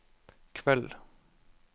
kveld